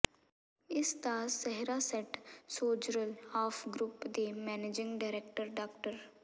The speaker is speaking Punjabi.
ਇਸ ਦਾ ਸਿਹਰਾ ਸੇਟ ਸੋਜਰਲ ਆਫ ਗਰੁੱਪ ਦੇ ਮੈਨੇਜਿੰਗ ਡਾਇਰੈਕਟਰ ਡਾ